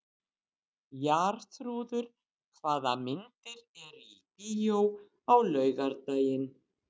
Jarþrúður, hvaða myndir eru í bíó á laugardaginn?